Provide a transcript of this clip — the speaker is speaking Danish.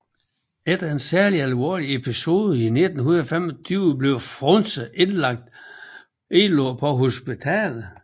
Efter en særlig alvorlig episode i 1925 blev Frunse indlagt på hospital